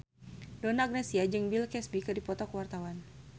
Donna Agnesia jeung Bill Cosby keur dipoto ku wartawan